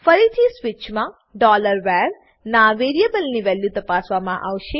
ફરીથી સ્વીચમાં var ના વેરીએબલની વેલ્યુ તપાસવામાં આવશે